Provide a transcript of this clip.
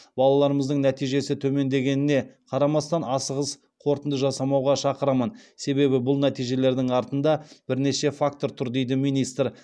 балаларымыздың нәтижесі төмендігіне қарамастан асығыс қорытынды жасамауға шақырамын себебі бұл нәтижелердің артында бірнеше фактор тұр дейді министр